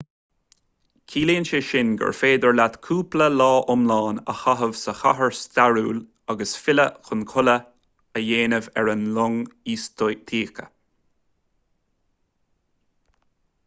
ciallaíonn sé sin gur féidir leat cúpla lá iomlán a chaitheamh sa chathair stairiúil agus filleadh chun codladh a dhéanamh ar an long istoíche